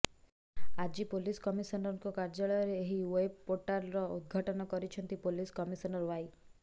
ଆଜି ପୋଲିସ କମିଶନରଙ୍କ କାର୍ଯ୍ୟାଳୟରେ ଏହି ୱେବ ପୋର୍ଟାଲର ଉଦଘାଟନ କରିଛନ୍ତି ପୋଲିସ କମିଶନର ୱାଇ